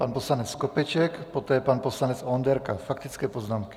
Pan poslanec Skopeček, poté pan poslanec Onderka, faktické poznámky.